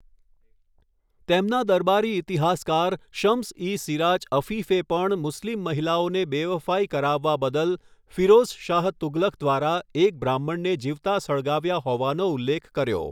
તેમના દરબારી ઈતિહાસકાર શમ્સ ઇ સિરાજ અફીફે પણ મુસ્લિમ મહિલાઓને બેવફાઈ કરાવવા બદલ ફિરોઝ શાહ તુઘલક દ્વારા એક બ્રાહ્મણને જીવતા સળગાવ્યા હોવાનો ઉલ્લેખ કર્યો.